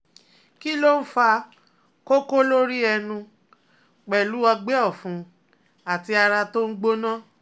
Kí ló ń fa koko lórí ẹnu pẹ̀lú ogbe ọ̀fun àti ara to n gbona?